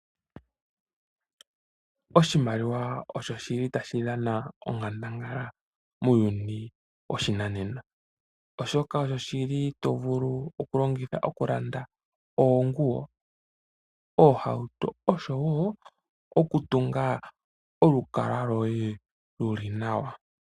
Oshimaliwa osho shi li tashi dhana onkandangala muuyuni woshinanena oshoka osho shi li to vulu okulongitha okulanda oonguwo, oohauto osho woo okutunga olukalwa lwoye lu li nawa.